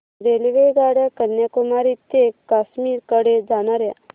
रेल्वेगाड्या कन्याकुमारी ते काश्मीर कडे जाणाऱ्या